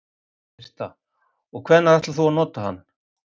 Birta: Og hvenær ætlar þú að nota hann?